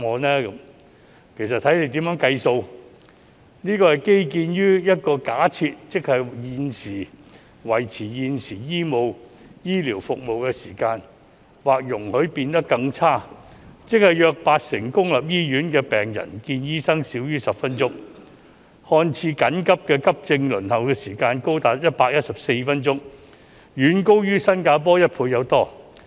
其實這便要視乎當局怎樣計算，這個數字是建基於一個假設，即維持現時醫療服務的時間或容許變得更差，即約八成公立醫院的病人見醫生少於10分鐘，次緊急的急症輪候時間高達114分鐘，遠高於新加坡一倍以上。